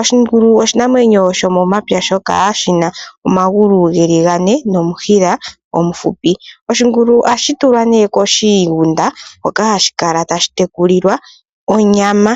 oshingulu oshinamwenyo shomo mapya shoka shina omagulu geli gane nomushila omuhupi . Oshingulu ohashi tulwa koshigunda hoka hashi kala tashi tekulilwa onyama.